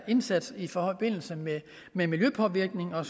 indsatsen i forbindelse med miljøpåvirkninger